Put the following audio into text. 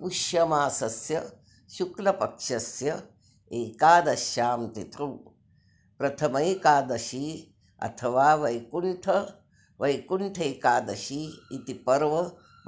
पुष्यमासस्य शुक्लपक्षस्य एकादश्यां तिथौ प्रथमैकादशी अथवा वैकुण्ठैकादशी इति पर्व